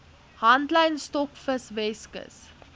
handlyn stokvis weskus